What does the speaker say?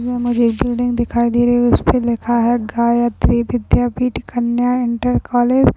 यह मुझे एक बिल्डिंग दिखाई दे रही है। उसपे लिखा है गायत्री विद्यापीठ कन्या इंटर कॉलेज ।